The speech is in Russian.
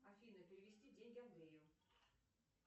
афина перевести деньги андрею